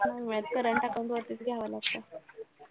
हम्म current account वरतीचं घ्यावं लागतं.